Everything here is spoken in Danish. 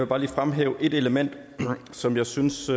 bare lige fremhæve et element som vi synes